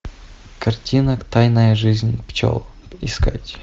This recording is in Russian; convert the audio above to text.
картина тайная жизнь пчел искать